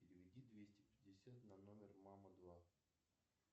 переведи двести пятьдесят на номер мама два